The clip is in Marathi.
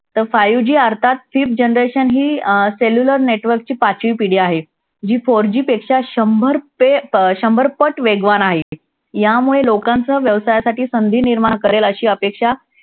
तर five G अर्थात fifth generation ही अं cellular network ची पाचवी पिढी आहे. जी four G पेक्षा शंभर अं शंभर पट वेगवान आहे. यामुळे लोकांच्या व्यवसायासाठी संधी निर्माण करेल अशी अपेक्षा